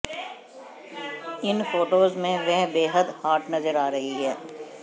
इन photos में वह बेहद हॉट नजर रही हैं